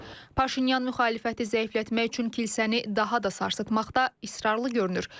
Paşinyan müxalifəti zəiflətmək üçün kilsəni daha da sarsıtmaqda israrlı görünür.